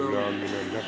Üleandmine on läbi.